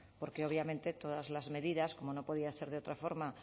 porque obviamente todas las medidas como no podía ser de otra forma